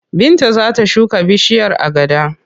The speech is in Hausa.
Binta za ta shuka bishiyar agada.